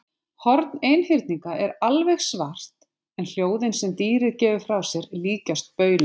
Horn einhyrninga er alveg svart en hljóðin sem dýrið gefur frá sér líkjast bauli.